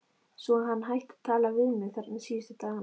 Svo hann hætti að tala við mig, þarna síðustu dagana.